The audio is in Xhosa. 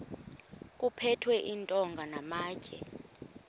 kuphethwe iintonga namatye